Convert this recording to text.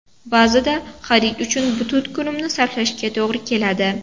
Ba’zida xarid uchun butun kunimni sarflashimga to‘g‘ri keladi.